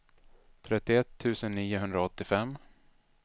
trettioett tusen niohundraåttiofem